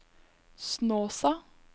Snåsa